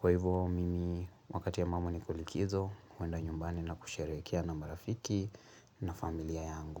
Kwa hivyo, mimi, wakati ya mamu nikuulikizo, huenda nyumbani na kusharekia na marafiki na familia yangu.